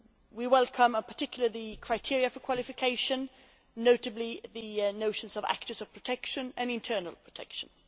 We welcome, in particular, the criteria for qualification, notably the notions of actors of protection' and internal protection'.